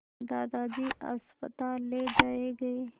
दादाजी अस्पताल ले जाए गए